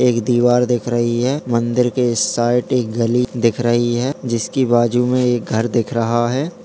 एक दीवार दिख रही है मंदिर के साइड मे एक गली दिख रही है जिसकी बाजु में एक घर दिख रहा है।